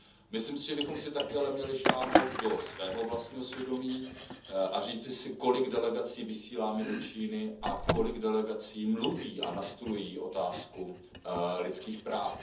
Myslím si, že bychom si také ale měli sáhnout do svého vlastního svědomí a říci si, kolik delegací vysíláme do Číny a kolik delegací mluví a nastolují otázku lidských práv.